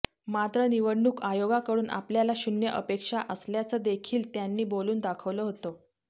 मात्र निवडणूक आयोगाकडून आपल्याला शून्य अपेक्षा असल्याचंदेखील त्यांनी बोलून दाखवलं होतं